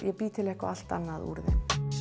og bý til eitthvað allt annað úr þeim